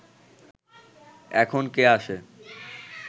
এখন কে আসে